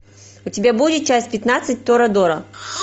у тебя будет часть пятнадцать торадора